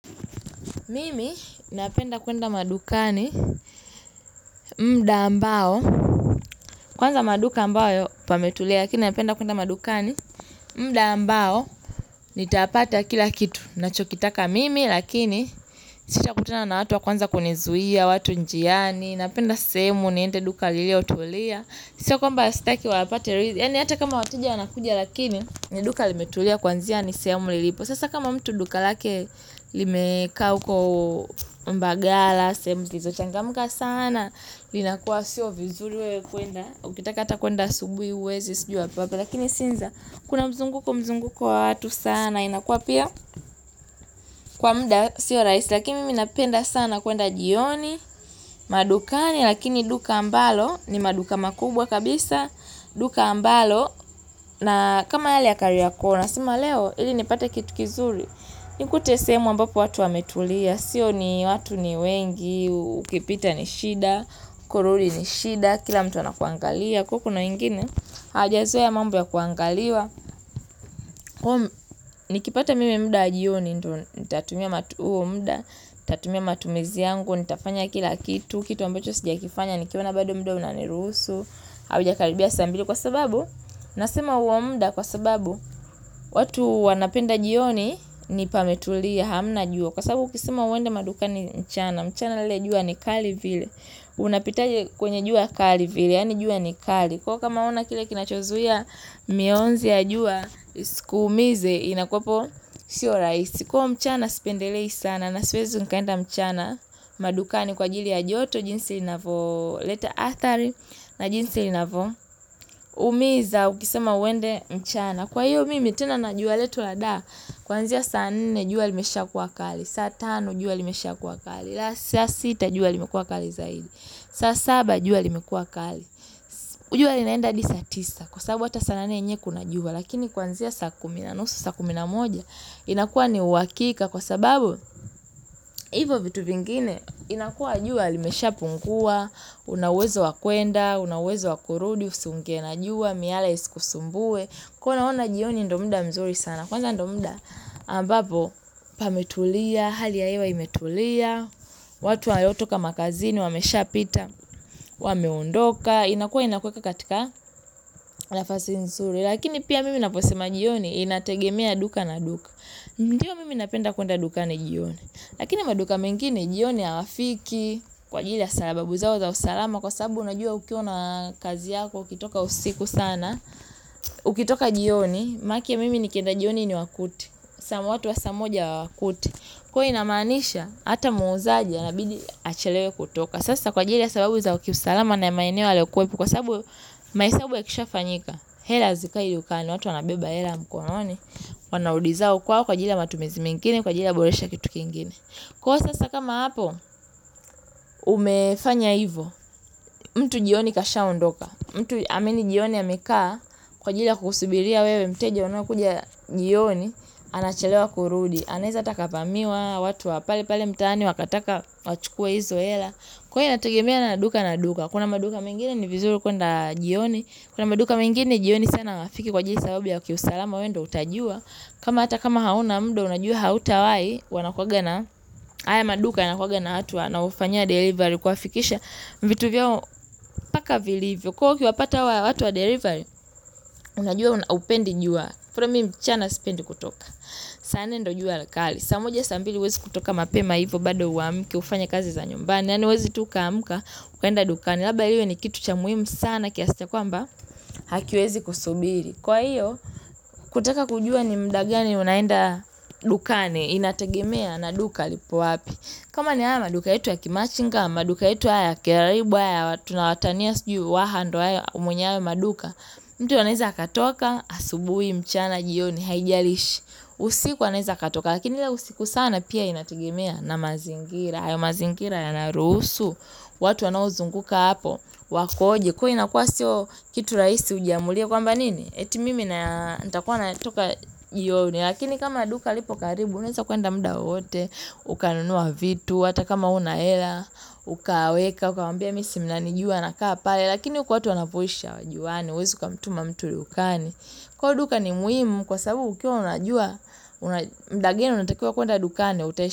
Mimi napenda kuenda madukani muda ambao kwanza maduka ambayo pametulia lakini napenda kuenda madukani muda ambao nitapata kila kitu nachokitaka mimi lakini sita kutana na watu wa kwanza kunizuia watu njiani napenda sehemu niende duka liliotulia Sio kwamba sitaki wapate Yaani hata kama wateja wanakuja lakini ni duka limetulia kwanzia ni sehemu nililipo Sasa kama mtu duka lake Limekaa uko mbagala sehemu zisizo changamka sana Linakuwa sio vizuri wewe kuenda Ukitaka hata kuenda asubuhi huwezi Sijuu papo lakini siza Kuna mzunguko mzunguko wa watu sana inakua pia kwa muda Sio rahisi lakini mimi napenda sana kuenda jioni madukani Lakini duka ambalo ni maduka makubwa kabisa, duka ambalo, na kama yale ya kariako, na sema leo, ili nipate kitu kizuri. Nikute sehemu ambapo watu wametulia, sio ni watu ni wengi, ukipita ni shida, korori ni shida, kila mtu anakuangalia, kuwa kuna wengine. Hajazoea mambo ya kuangaliwa, nikipata mimi muda wa jioni, nitatumia huo muda, nitatumia matumizi yangu, nitafanya kila kitu, kitu ambacho sijakifanya, nikiona bado muda unaniruhusu. Hauja karibia saa mbili kwa sababu nasema huo muda kwa sababu watu wanapenda jioni ni pametulia hamna jua kwa sababu ukisema uende madukani mchana mchana ule jua ni kali vile unapitaje kwenye jua kali vile yaani jua ni kali kuwa kama huna kile kinachozuia mionzi ya jua kuumize inakuwapo sio rahisi kuwa mchana spendelei sana na siwezi nikaenda mchana madukani kwa ajili ya joto jinsi inavo leta athari na jinsi inavo humiza ukisema uende mchana Kwa hiyo mimi tena na jua letu lada Kwanzia saa nne jua limeshakuwa kali saa tano jua limeshakuwa kali saa sita jua limekuwa kali zaidi saa saba jua limekuwa kali jua linaenda hadi saa tisa Kwa sababu hata saa nane enyewe kuna jua Lakini kwanzia saa kumi na nusu saa kumi na moja inakuwa ni huhakika Kwa sababu Hivo vitu vingine inakuwa jua limesha pungua Una uwezo wa kwenda, una uwezo wa kurudi, usiingie na jua Miala isikusumbue kuwa naona jioni ndo muda mzuri sana Kwanza ndo muda ambapo pametulia, hali ya hewa imetulia watu wanaotoka makazini, wamesha pita Wameondoka, inakuwa inakueka katika nafasi nzuri Lakini pia mimi naposema jioni Inategemea duka na duka Ndiyo mimi napenda kuenda duka na jioni Lakini maduka mengi ni jioni hawafiki Kwa ajili ya sababu zao za usalama Kwa sababu unajua ukiona kazi yako ukitoka usiku sana Ukitoka jioni Maki mimi nikenda jioni niwakute sa watu wa saa moja hawakuji huwa inamaanisha Hata muuzaji anabidi achalewe kutoka Sasa kwa ajili ya sababu za kiusalama na maeneo yalikuwepo Kwa sababu mahesabu ya kisha fanyika hela zikai dukani watu wanabeba hela mkononi Wanauliza uko wapi kwa ajili ya matumizi mengine Kwa ajili ya boresha kitu kingine Kwa sasa kama hapo umefanya hivo mtu jioni kasha ondoka mtu amini jioni amekaa Kwa ajili ya kusubiria wewe mteja unaokuja jioni anachelewa kurudi anaeza ata akavamiwa watu wa pale pale mtaani Wakataka wachukua hizo hela Kwani inanategemea na duka na duka Kuna maduka mengine ni vizuri kwenda jioni Kuna maduka mengine jioni sana hawafiki kwa ajili sababu ya kiusalama wewe ndo utajua kama hata kama hauna muda unajua hautawai wanakuwaga na haya maduka wanakuwaga na watu wanaofanya delivery kuwa fikisha vitu vyao mpaka vilivyo kuwa ukiwapata hawa watu wa delivery unajua haupendi jua from mimi mchana sipendi kutoka saa nne ndo jua likali saa moja saa mbili huwezi kutoka mapema hivyo bado huamki hufanya kazi za nyumbani yaani huwezi toka amka ukaenda dukani labda iwe ni kitu cha muhimu sana kiasi cha kwamba hakiwezi kusubiri kwa hiyo kutaka kujua ni muda gani unaenda dukani inategemea na duka lipo wapi kama ni haya maduka yetu ya kimachinga maduka yetu haya kiaribu haya tunawatania sijui waha ndo hayo mwenye hayo maduka mtu anaeza katoka asubuhi mchana jioni haijalishi usiku anaeza katoka lakini la usiku sana pia inategemea na mazingira hayo mazingira yanaruhusu watu wanaozunguka hapo wakoje kuwa inakuwa sio kitu rahisi ujiamulia kwamba nini eti mimi nitakuwa natoka jioni lakini kama maduka lipo karibu unaeza kwenda muda wowote ukanunua vitu hata kama huna hela ukaweka, ukamwambia mimi si mnanijua na kaa pale, lakini huku watu wanapusha wajuane, huwezi kamtuma mtu dukani, kwa duka ni muhimu kwa sababu ukiwa unajua mdageni unatakiwa kuenda dukani.